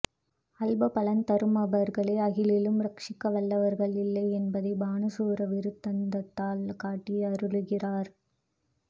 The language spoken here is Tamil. அல்ப பலன் தருமவர்களே ஆகிலும் ரக்ஷிக்க வல்லவர்கள் இல்லை என்பதை பாணா ஸூர விருத்தாந்தத்தால் காட்டி அருளுகிறார்